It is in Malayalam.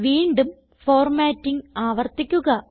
വീണ്ടും ഫോർമാറ്റിംഗ് ആവർത്തിക്കുക